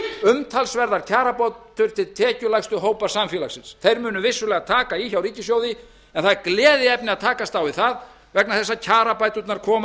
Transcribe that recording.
umtalsverða kjarabót tekjulægstu hópar samfélagsins þeir munu vissulega taka í hjá ríkissjóði en það er gleðiefni að takast á við það vegna þess að kjarabæturnar koma